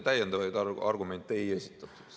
Täiendavaid argumente ei esitatud.